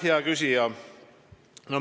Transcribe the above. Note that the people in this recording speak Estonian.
Hea küsija!